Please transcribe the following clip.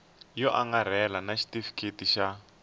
yo angarhela na xitifiketi xa